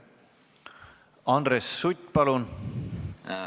Andres Sutt, palun!